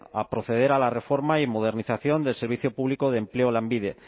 a proceder a la reforma y modernización del servicio público de empleo lanbide